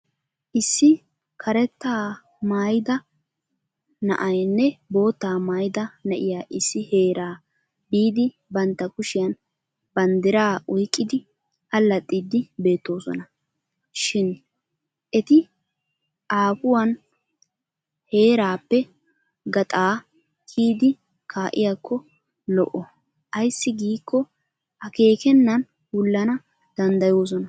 Issi karettaa maayida na'aynne boottaa maayida na'iyaa issi heeraa biidi bantta kushiyan banddiraa oyqqiddi allaxxiiddi beettoosona. Shin eti aafuwan heraappe gaxaa kiyidi kaa'iyaakko lo'o ayssi giikko akeekennan wullana danddoyoosona.